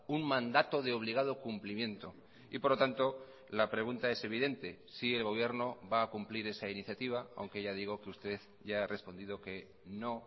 un mandato de obligado cumplimiento y por lo tanto la pregunta es evidente si el gobierno va a cumplir esa iniciativa aunque ya digo que usted ya ha respondido que no